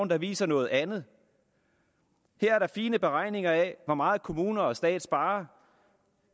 der viser noget andet her er der fine beregninger af hvor meget kommunerne og staten sparer